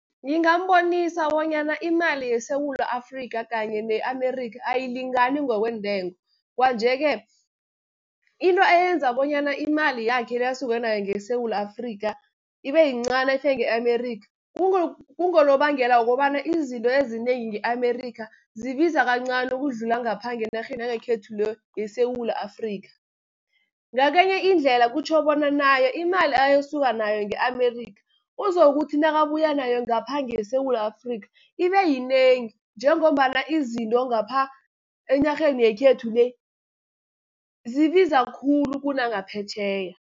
Ngingambonisa bonyana imali yeSewula Afrika kanye ne-Amerika ayilingani ngokweentengo. Kwanje-ke into eyenza bonyana imali yakhe le, asuke nayo ngeSewula Afrika, ibe yincani nayifika nge-Amerika. Kungonobangela wokobana izinto ezinengi nge-Amerika zibiza kancani ukudlula ngapha enarheni yangekhethu le, yeSewula Afrika. Ngakenye indlela kutjho bona naye imali ayokusuka nayo nge-Amerika uzokuthi nakabuya nayo ngapha, ngeSewula Afrika ibe yinengi, njengombana izinto ngapha enarheni yekhethu le, zibiza khulu kunangaphetjheya.